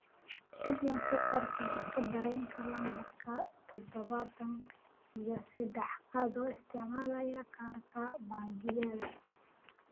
fadlan ku qor tigidh tareenka lambarka todobaatan iyo saddex adoo isticmaalaya kaarka bangigayga